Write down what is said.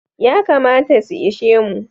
Yakamata su ishe mu.